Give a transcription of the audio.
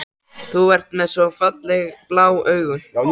Þú ert með svo ferlega blá augu.